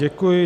Děkuji.